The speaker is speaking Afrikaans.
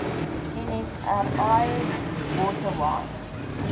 nsri water wise